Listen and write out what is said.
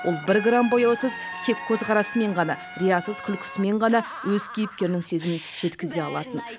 ол бір грамм бояусыз тек көзқарасымен ғана риясыз күлкісімен ғана өз кейіпкерінің сезімін жеткізе алатын